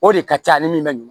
O de ka ca ni min bɛ